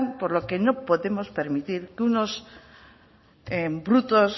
por lo que no podemos permitir que unos brutos